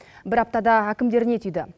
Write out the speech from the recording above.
бір аптада әкімдер не түйді